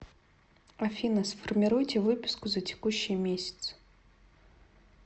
афина сформируйте выписку за текущий месяц